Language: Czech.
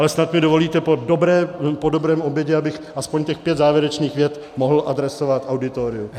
Ale snad mi dovolíte po dobrém obědě, abych aspoň těch pět závěrečných vět mohl adresovat auditoriu.